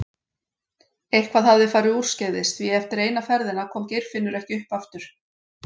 Eitthvað hafði farið úrskeiðis því eftir eina ferðina kom Geirfinnur ekki upp aftur.